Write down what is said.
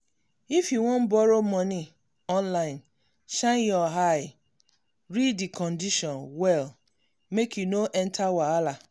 if you wan borrow money online shine your eye read di condition well make you no enter wahala.